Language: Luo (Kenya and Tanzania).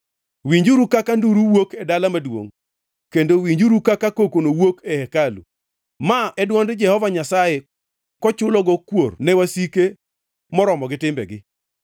Winjuru kaka nduru wuok e dala maduongʼ, kendo winjuru kaka kokono wuok e hekalu! Ma en dwond Jehova Nyasaye kochulogo kuor ne wasike moromo gi timbegi.